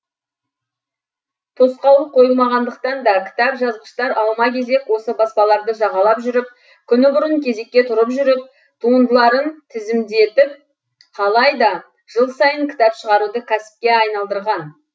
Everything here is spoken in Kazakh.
тосқауыл қойылмағандықтан да кітап жазғыштар алма кезек осы баспаларды жағалап жүріп күні бұрын кезекке тұрып жүріп туындыларын тізімдетіп қалайда жыл сайын кітап шығаруды кәсіпке айналдырған